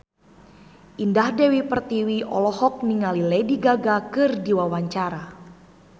Indah Dewi Pertiwi olohok ningali Lady Gaga keur diwawancara